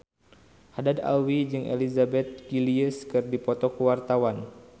Haddad Alwi jeung Elizabeth Gillies keur dipoto ku wartawan